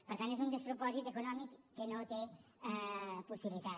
per tant és un despropòsit econòmic que no té possibilitat